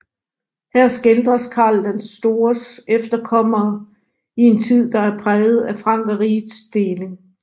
Her skildres Karl den Stores efterkommere i en tid der er præget af Frankerrigets deling